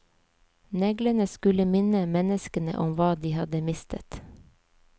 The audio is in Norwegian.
Neglene skulle minne menneskene om hva de hadde mistet.